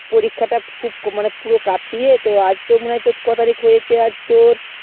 পরীক্ষা টা খুব মানে পুরো কাছে ই এ তো আজ তো মনে হয়ে কো তারিক হয়েছে আজ তোর